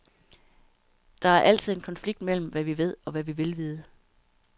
Der er altid en konflikt mellem, hvad vi ved, og hvad vi vil vide.